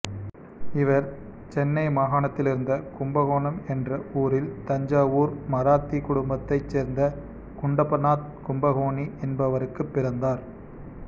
இவர் சென்னை மாகணத்திலிருந்த கும்பகோணம் என்ற ஊரில் தஞ்சாவூர் மராத்தி குடும்பத்தைச் சேர்ந்த குண்டப்பநாத் கும்பகோணி என்பவருக்கு பிறந்தார்